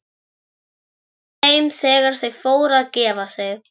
Og hún þeim þegar þau fóru að gefa sig.